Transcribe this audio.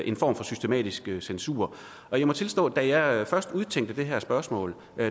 en form for systematisk censur og jeg må tilstå at da jeg først udtænkte det her spørgsmål var